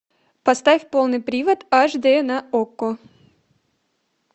поставь полный привод аш д на окко